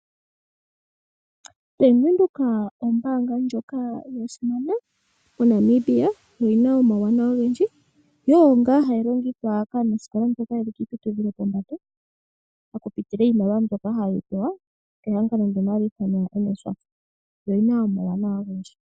Bank Windhoek ombaanga ndjoka yasimana moNamibia oyina omawuwanawa ogendji, yo oyo ngaa hayi longithwa kaanasikola mboka yeli kiiputudhilo yopombanda okupitila iimaliwa mbyoka haye yi pewa kehangano lyono hali ithanwa NSFAF yo oyina omawuwanawa ogendji.